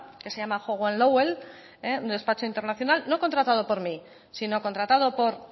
que se llama hogan lovells un despacho internacional no contratado por mí sino contratado por